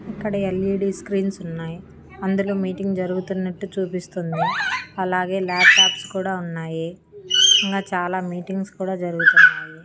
ఇక్కడ LED screens ఉన్నాయి అందులో మీటింగ్ జరుగుతున్నట్టు చూపిస్తుంది. అలాగే ల్యాప్టాప్స్ కూడా ఉన్నాయి ఇంకా చాలా మీటింగ్స్ కూడా జరుగుతున్నాయి.